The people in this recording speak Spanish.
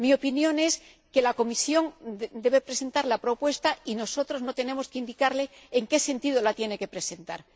Mi opinión es que la Comisión debe presentar la propuesta y nosotros no tenemos que indicarle en qué sentido la tiene que presentar.